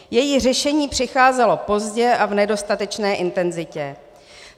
Její řešení přicházelo pozdě a v nedostatečné intenzitě.